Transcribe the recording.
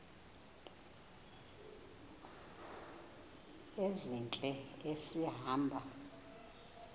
ezintle esi hamba